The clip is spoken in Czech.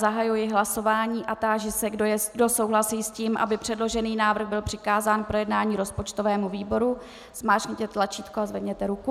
Zahajuji hlasování a táži se, kdo souhlasí s tím, aby předložený návrh byl přikázán k projednání rozpočtovému výboru, zmáčkněte tlačítko a zvedněte ruku.